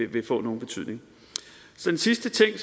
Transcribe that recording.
vil få nogen betydning en sidste ting